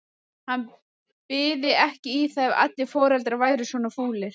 Hann byði ekki í það ef allir foreldrar væru svona fúlir.